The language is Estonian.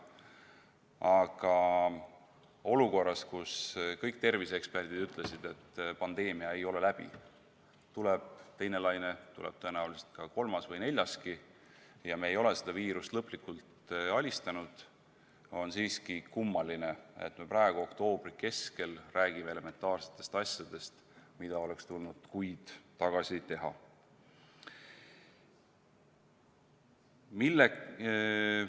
Aga olukorras, kus kõik terviseeksperdid ütlesid, et pandeemia ei ole läbi, tuleb teine laine, tuleb tõenäoliselt ka kolmas või neljaski, me ei ole seda viirust lõplikult alistanud, on siiski kummaline, et me praegu, oktoobri keskel räägime elementaarsetest asjadest, mida oleks kuid tagasi tulnud teha.